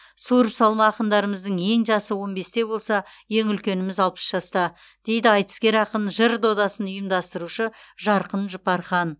суырып салма ақындарымыздың ең жасы он бесте болса ең үлкеніміз алпыс жаста дейді айтыскер ақын жыр додасын ұйымдастырушы жарқын жұпархан